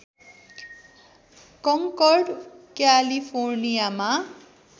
conquered क्यालिफोर्नियामा